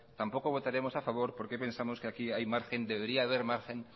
tampoco votaremos a favor porque pensamos que aquí hay margen debería haber margen